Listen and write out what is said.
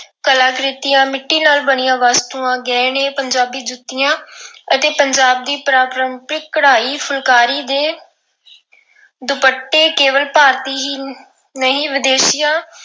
ਕਲਾਕ੍ਰਿਤੀਆਂ, ਮਿੱਟੀ ਨਾਲ ਬਣੀਆਂ ਵਸਤੂਆਂ, ਗਹਿਣੇ, ਪੰਜਾਬ ਜੁੱਤੀਆਂ ਅਤੇ ਪੰਜਾਬ ਦੀ ਪਰੰਪਰਿਕ ਕਢਾਈ ਫੁਲਕਾਰੀ ਦੇ ਦੁਪੱਟੇ ਕੇਵਲ ਭਾਰਤੀ ਹੀ ਨਹੀਂ ਵਿਦੇਸ਼ੀਆਂ